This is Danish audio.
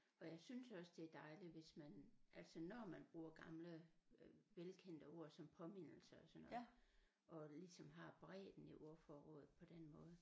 Og jeg synes også det er dejligt hvis man altså når man bruger gamle øh velkendte ord som påmindelse og sådan noget og ligesom har bredden i ordforrådet på den måde